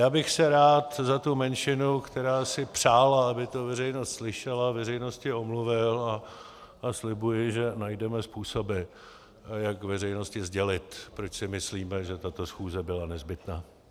Já bych se rád za tu menšinu, která si přála, aby to veřejnost slyšela, veřejnosti omluvil a slibuji, že najdeme způsoby, jak veřejnosti sdělit, proč si myslíme, že tato schůze byla nezbytná.